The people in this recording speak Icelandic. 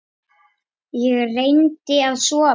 Ég reyndi að sofa.